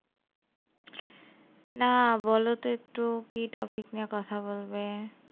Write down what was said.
না বলো তো একটু, কি topic নিয়ে কথা বলবে?